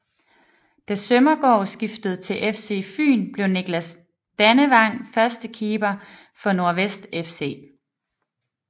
Da Sømmergaard skiftede til FC Fyn blev Nicklas Dannevang førstekeeper for Nordvest FC